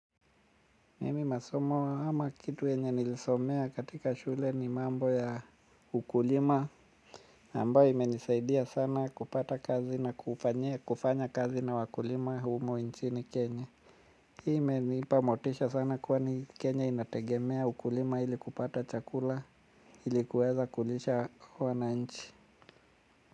Mimi masomo ama kitu yenye nilisomea katika shule ni mambo ya ukulima ambayo imenisaidia sana kupata kazi na kufanya kazi na wakulima humu nchini kenya. Hii imenipa motisha sana kuwa ni kenya inategemea ukulima hili kupata chakula ili kuweza kulisha wananchi.